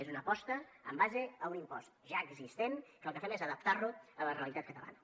és una aposta en base a un impost ja existent que el que fem és adaptar lo a la realitat catalana